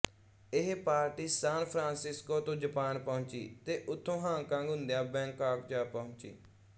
ਇਹ party San Francisco ਤੋਂ Japan ਪਹੁੰਚੀ ਤੇ ਉੱਥੋਂ ਹਾਂਗਕਾਂਗ ਹੁੰਦਿਆਂ ਬੈਂਕਾਕ ਜਾ ਪਹੁੰਚੀ